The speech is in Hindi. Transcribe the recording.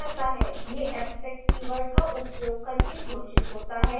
यह abstract कीवर्ड का उपयोग करके घोषित होता है